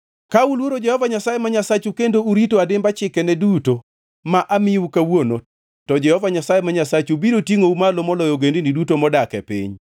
Ka uluoro Jehova Nyasaye ma Nyasachu kendo urito adimba chikene duto ma amiyou kawuono, to Jehova Nyasaye ma Nyasachu biro tingʼou malo moloyo ogendini duto modak e piny.